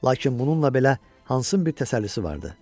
Lakin bununla belə Hansın bir təsəllisi vardı.